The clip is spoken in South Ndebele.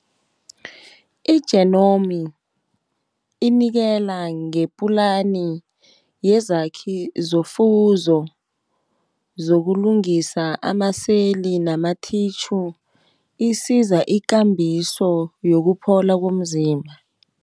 I-genomi inikela ngeplani yezakhi zofuzo, zokulungisa ama-cell, nama-tissue isiza ikambiso yokuphola komzimba.